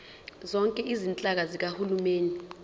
zonke izinhlaka zikahulumeni